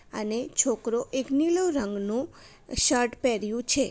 અને છોકરો એક નીલો રંગનું શર્ટ પેરીયું છે.